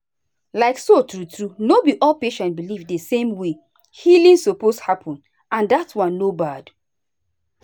like so true true no be all patients believe the same way healing suppose happen and dat one no bad.